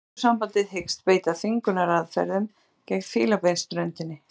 Evrópusambandið hyggst beita þvingunaraðferðum gegn Fílabeinsströndinni